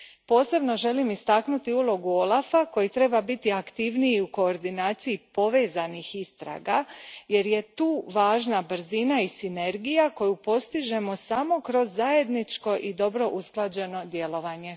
Posebno želim istaknuti ulogu OLAF a koji treba biti aktivniji u koordinaciji povezanih istraga jer je tu važna brzina i sinergija koju postižemo samo kroz zajedničko i dobro usklađeno djelovanje.